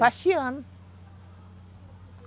Faxeando.